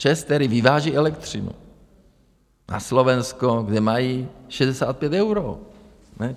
ČEZ, který vyváží elektřinu na Slovensko, kde mají 65 eur.